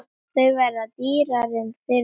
Þau verða dýrari fyrir vikið.